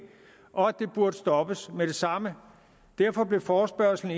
og at det burde stoppes med det samme derfor blev forespørgslen